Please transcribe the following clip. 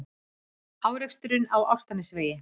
Árekstur á Álftanesvegi